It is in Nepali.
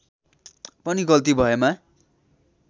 पनि गल्ती भएमा